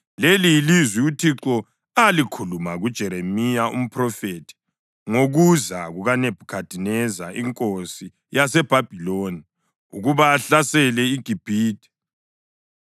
Leli yilizwi uThixo alikhuluma kuJeremiya umphrofethi ngokuza kukaNebhukhadineza inkosi yaseBhabhiloni ukuba ahlasele iGibhithe: